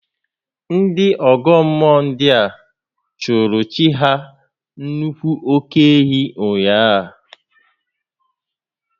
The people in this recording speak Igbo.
Ndị ọ́gọ́ mmụọ ndịa chụụrụ chi ha nnukwu óké-ehi ụnyaahụ